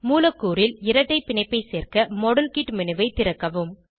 மூலக்கூறில் இரட்டை பிணைப்பை சேர்க்க மாடல் கிட் மேனு ஐ திறக்கவும்